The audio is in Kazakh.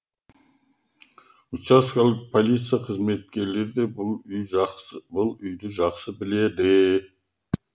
учаскелік полиция қызметкерлері де бұл үйді жақсы біледі